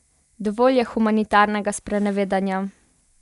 Dovolj je humanitarnega sprenevedanja!